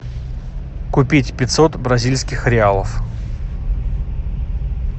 купить пятьсот бразильских реалов